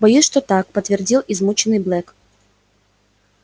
боюсь что так подтвердил измученный блэк